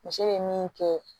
Muso bɛ min kɛ